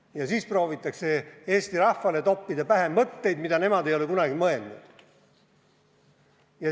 Ja siis proovitakse Eesti rahvale toppida pähe mõtteid, mida nemad ei ole kunagi mõelnud.